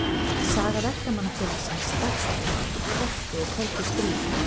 Saga Verkamannafélagsins Dagsbrúnar í kreppu og köldu stríði.